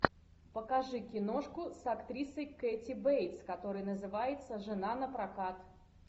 покажи киношку с актрисой кэти бейтс которая называется жена напрокат